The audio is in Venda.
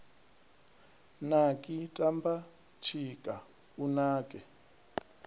naki tamba tshika u nake